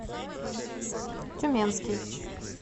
тюменский